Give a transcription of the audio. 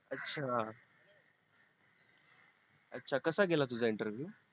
अच्छा अच्छा कसा गेला तुझा interview